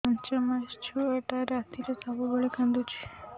ପାଞ୍ଚ ମାସ ଛୁଆଟା ରାତିରେ ସବୁବେଳେ କାନ୍ଦୁଚି